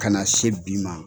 Kana se bi ma